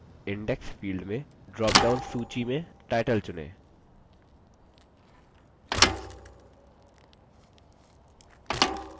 और दायीं तरफ index field में drop down सूची में title चुनें